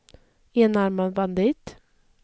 enarmad bandit